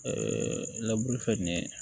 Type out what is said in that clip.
labulu fɛn nin ye